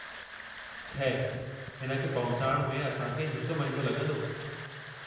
खै़रु, हिन खे पहुचाइण में असां खे हिकु महीनो लॻंदो।